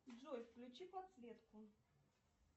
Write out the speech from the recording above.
джой включи подсветку